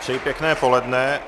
Přeji pěkné poledne.